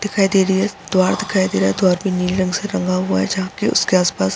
दिखाई दे रही है द्वार दिखाई दे रहा है। द्वार भी नीले रंग से रंगा हुआ है जहाँ की उसके आस-पास --